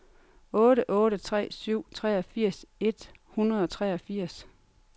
otte otte tre syv treogfirs et hundrede og treogfirs